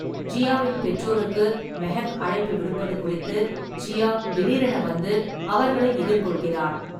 ஜியாவின் பெற்றோருக்கு மெஹக் அழைப்பு விடுப்பது குறித்து ஜியா திடீரென வந்து அவர்களை எதிர்கொள்கிறாள்.